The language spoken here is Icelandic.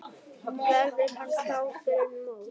Verður hann klár fyrir mót?